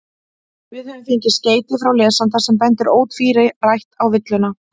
Við höfum fengið skeyti frá lesanda sem bendir ótvírætt á villuna.